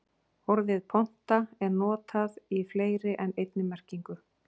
Orðið ponta er notað í fleiri en einni merkingu.